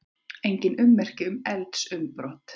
Engin ummerki um eldsumbrot